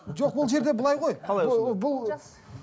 жоқ ол жерде былай ғой қалай ол бұл